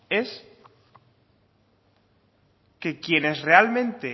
es que quienes realmente